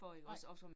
Nej